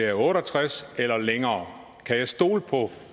er otte og tres år eller længere kan jeg stole på